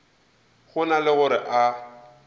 go na le gore a